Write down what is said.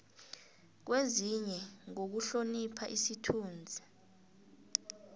kwenziwe ngokuhlonipha isithunzi